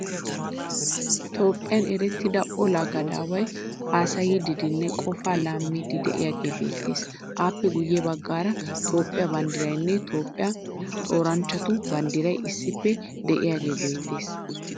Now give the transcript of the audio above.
Toophphiyan erettida olaa gadaaway haasayiiddinne qofaa laamiiddi de'iyagee beettes. Appe guyye baggaara Toophphiya banddirayinne Toophphiya xooranchchatu banddiray issippe de'iyagee beettes.